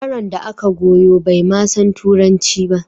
Yaron da aka goyo bai ma san Turanci ba